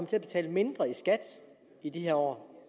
til at betale mindre i skat i de her år